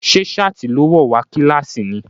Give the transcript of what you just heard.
Ṣé ṣáàtì ló wọ̀ wá kílàsì ni?